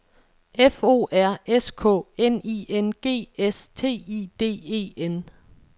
F O R S K N I N G S T I D E N